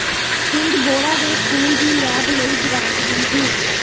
ਪਿੰਡ ਬੋੜਾ ਦੇ ਸਕੂਲ ਦੀ ਲੈਬ ਲਈ ਗਰਾਂਟ ਮਨਜ਼ੂਰ